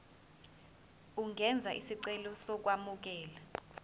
ungenza isicelo sokwamukelwa